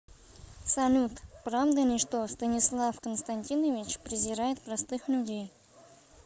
салют правда ли что станислав константинович презирает простых людей